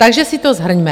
Takže si to shrňme.